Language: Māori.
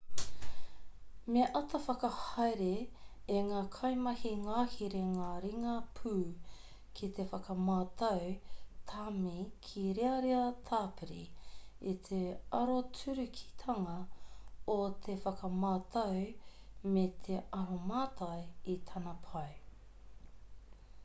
me āta whakahaere e ngā kaimahi ngahere ngā ringa pū ki te whakamātau tāmi kīrearea tāpiri i te aroturukitanga o te whakamātau me te aromātai i tana pai